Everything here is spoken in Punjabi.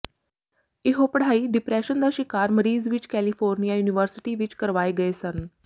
ਇਹੋ ਪੜ੍ਹਾਈ ਡਿਪਰੈਸ਼ਨ ਦਾ ਸ਼ਿਕਾਰ ਮਰੀਜ਼ ਵਿਚ ਕੈਲੀਫੋਰਨੀਆ ਯੂਨੀਵਰਸਿਟੀ ਵਿੱਚ ਕਰਵਾਏ ਗਏ ਸਨ